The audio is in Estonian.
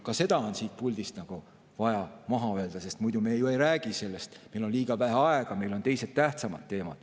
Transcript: Ka see on siit puldist vaja maha öelda, sest muidu me ju ei räägi sellest, meil on liiga vähe aega, meil on teised, tähtsamad teemad.